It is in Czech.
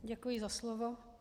Děkuji za slovo.